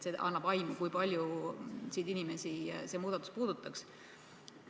See annab aimu, kui paljusid inimesi see muudatus puudutaks.